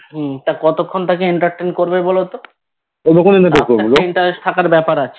হুম তা কতক্ষন তাকে Entertain বলো তো একটা Interest থাকার ব্যাপার আছে